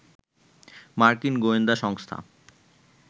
মার্কিন গোয়েন্দা সংস্থা